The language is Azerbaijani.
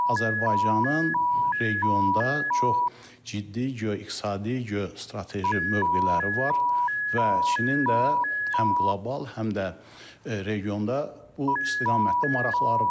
Azərbaycanın regionda çox ciddi geo-iqtisadi, geo-strateji mövqeləri var və Çinin də həm qlobal, həm də regionda bu istiqamətdə maraqları var.